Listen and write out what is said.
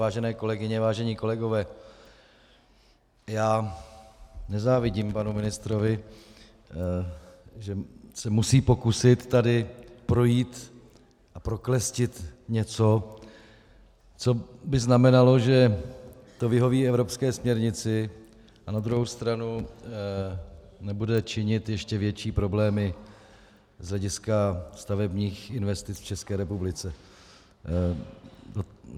Vážené kolegyně, vážení kolegové, já nezávidím panu ministrovi, že se musí pokusit tady projít a proklestit něco, co by znamenalo, že to vyhoví evropské směrnici a na druhou stranu nebude činit ještě větší problémy z hlediska stavebních investic v České republice.